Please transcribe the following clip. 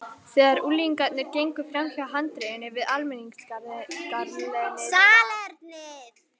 Þegar unglingarnir gengu framhjá handriðinu við almenningssalernið var